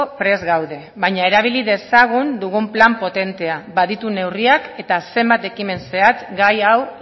prest gaude baina erabili dezagun dugun plan potentea baditu neurriak eta zenbat ekimen zehatz gai hau